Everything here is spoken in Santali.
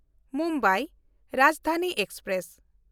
ᱢᱩᱢᱵᱟᱭ ᱨᱟᱡᱽᱫᱷᱟᱱᱤ ᱮᱠᱥᱯᱨᱮᱥ